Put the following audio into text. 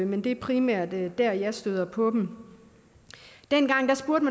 men det er primært dér jeg støder på dem dengang